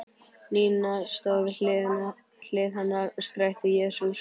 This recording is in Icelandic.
Nína stóð við hlið hennar og skrækti: Jesús!